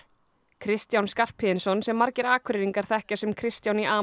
Kristján Skarphéðinsson sem margir Akureyringar þekkja sem Kristján í